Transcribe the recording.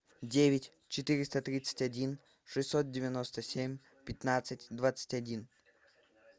девять четыреста тридцать один шестьсот девяносто семь пятнадцать двадцать один